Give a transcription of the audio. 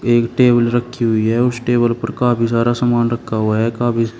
एक टेबल रखी हुई है उस टेबल पर काफी सारा सामान रखा हुआ है काफ़ी --